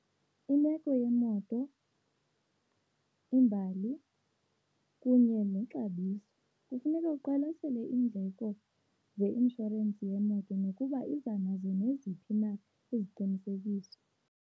Imeko yemoto, imbali, kunye nexabiso kufuneka uqwalasele iindleko zeinshorensi yemoto nokuba iza nazo neziphi na iziqinisekiso.